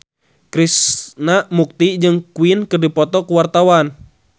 Krishna Mukti jeung Queen keur dipoto ku wartawan